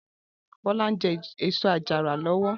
Bola n jè ésó àjàrá lòwò